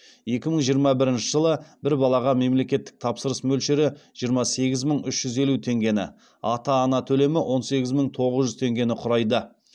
екі мың жиырма бірінші жылы бір балаға мемлекеттік тапсырыс мөлшері жиырма сегіз мың үш жүз елу теңгені ата ана төлемі он сегіз мың тоғыз жүз теңгені құрайды